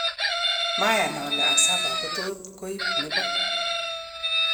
"Mayan ole Asaba kototkoib nebo.